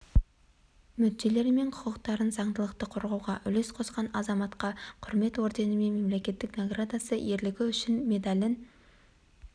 мүдделері мен құқықтарын заңдылықты қорғауға үлес қосқан азаматқа құрмет орденімен мемлекеттік наградасы ерлігі үшін медалін